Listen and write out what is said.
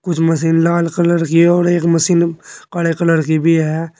कुछ मशीन लाल कलर की और एक मशीन काले कलर की भी है।